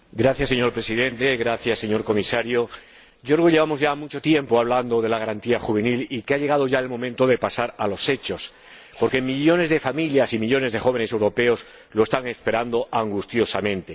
Señor Presidente, gracias señor Comisario, creo que llevamos ya mucho tiempo hablando de la garantía juvenil y que ha llegado el momento de pasar a los hechos, porque millones de familias y millones de jóvenes europeos lo están esperando angustiosamente.